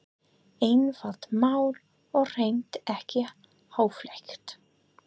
Einfalt mál og hreint ekki háfleygt.